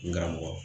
N karamɔgɔ